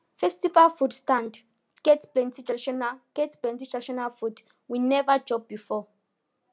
festival food stand get plenty traditional get plenty traditional food we never chop before